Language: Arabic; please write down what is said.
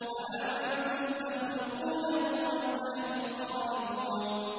أَأَنتُمْ تَخْلُقُونَهُ أَمْ نَحْنُ الْخَالِقُونَ